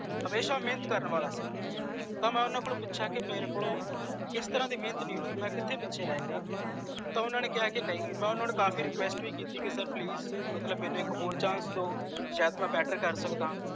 ਹਮੇਸ਼ਾ ਮੇਹਨਤ ਕਰਨ ਵਾਲਾ ਜੀ ਤਾਂ ਮੈਂ ਓਹਨਾ ਕੋਲੌਂ ਪੁੱਛਿਆ ਕਿ ਮੇਰੇ ਕੋਲੋਂ ਕੇਸ ਤਰਾਂ ਦੀ ਮੇਹਨਤ ਨੀ ਹੋਇ ਮੈਂ ਕਿਥੇ ਪਿੱਛੇ ਰਹਿ ਗਿਆ ਤਾਂ ਓਹਨਾ ਨੇ ਕਿਹਾ ਨਹੀਂ ਮੈਂ ਓਹਨਾ ਨੂੰ ਕਾਫੀ request ਬੀ ਕੀਤੀ ਕਿ sir ਮੈਨੂੰ ਇਕ ਹੋਰ chance ਦੋ ਸ਼ਾਇਦ ਮੈਂ better ਕਰ ਸਕਦਾਂ